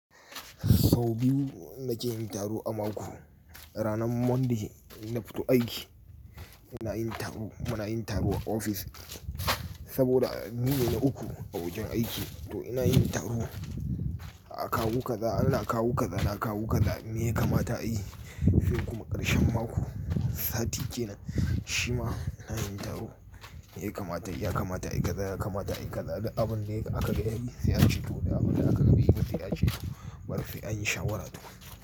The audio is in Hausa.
Sau biyu na ke yin taro a mako. Ranar Littini ina fito aiki ina yin taro. Muna yin taro a ofis saboda mu ne uku a wajen aiki to ina yin taro. A kawo kaza ana kawo kaza ana kawo kaza me ya kamata ayi? Sai kuma ƙarshen mako sati ke nan shima ina yin taro. Me ya kamata yi? Ya kamata ayi kaza, ya kamata ayi kaza. Da abin da aka gani zai ci to da abin da aka gani bata zai ci to bari a yi shawarar.